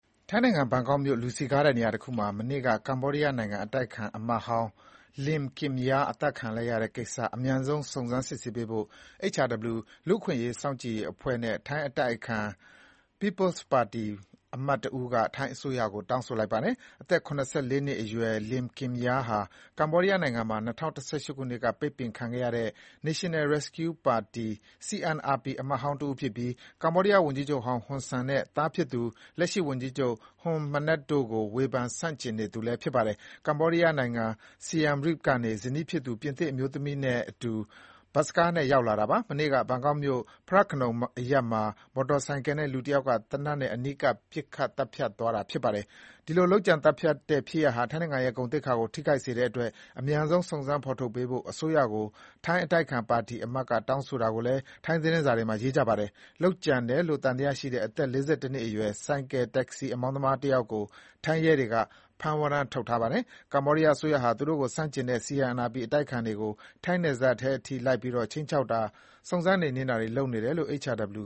ထိုင်းနိုင်ငံ ဘန်ကောက်မြို့ လူစည်ကားတဲ့နေရာတခုမှာ မနေ့က ကမ္ဘောဒီးယားနိုင်ငံ အတိုက်အခံအမတ်ဟောင်း Lim Kimya အသတ်ခံခဲ့ရတဲ့ကိစ္စ အမြန်ဆုံး စုံစမ်းစစ်ဆေးပေးဖို့ HRW လူ့အခွင့်အရေး စောင့်ကြည့်ရေးအဖွဲ့နဲ့ ထိုင်း အတိုက်အခံ People’s Party ပါတီအမတ်တဦးက ထိုင်းအစိုးရကို တောင်းဆိုပါတယ်။ အသက် ၇၄ နှစ်အရွယ် Lim Kimya ဟာ ကမ္ဘောဒီးယားနိုင်ငံမှာ ၂၀၁၈ ခုနှစ်က ပိတ်ပင်ခံခဲ့ရတဲ့ National Rescue Party CNRP အမတ်ဟောင်းတဦး ဖြစ်ပြီး ကမ္ဘောဒီးယားဝန်ကြီးချုပ်ဟောင်းဟွန်ဆန်နဲ့ သားဖြစ်သူ လက်ရှိဝန်ကြီးချုပ် Hun Manet တို့ကို ဝေဖန်ဆန့်ကျင်နေသူ ဖြစ်ပါတယ်။ ကမ္ဘောဒီးယားနိုင်ငံ Siem Reap ကနေ ဇနီးဖြစ်သူ ပြင်သစ်အမျိုးသမီးနဲ့အတူ ထိုင်းနိုင်ငံကို ဘတ်စကားနဲ့ ရောက်လတာပါ။ မနေ့က ဘန်ကောက်မြို့ Phra Nakhon အရပ်မှာ မော်တော်ဆိုင်ကယ်နဲ့ လူတယောက်က သေနတ်နဲ့ အနီးကပ် ပစ်သတ်သွားတာပါ။ ဒီလို လုပ်ကြံ သတ်ဖြတ်တဲ့ ဖြစ်ရပ်ဟာ ထိုင်းနိုင်ငံရဲ့ ဂုဏ်သိက္ခာကိုထိခိုက်နိုင်တဲ့အတွက် အမြန်ဆုံး စုံစမ်း ဖေါ်ထုတ်ပေးဖို့ ထိုင်းအစိုးရကို ထိုင်းအတိုက်အခံပါတီအမတ်က တောင်းဆိုတာကိုလည်း ထိုင်း သတင်းစာတွေမှာ ရေးပါတယ်။ လုပ်ကြံတယ်လို့ သံသယရှိတဲ့ အသက် ၄၁ နှစ်အရွယ် ဆိုင်ကယ် တက္ကစီ အမောင်းသမားတယောက်ကို ထိုင်းရဲတွေက ဖမ်းဝရမ်းထုတ်ထားပါတယ်။ ကမ္ဘောဒီးယားအစိုးရဟာ သူ့ကိုဆန့်ကျင်တဲ့ CNRP အတိုက်အခံတွေကို ထိုင်းနယ်ထဲအထိ လိုက်ပြီး ခြိမ်းခြောက်တာ၊ စုံစမ်း နှိမ်နင်းတာတွေလုပ်နေတယ်လို့ HRW